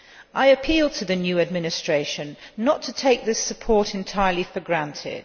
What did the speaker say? I appeal to the new administration not to take this support entirely for granted.